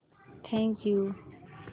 thank you